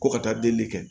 Ko ka taa delili kɛ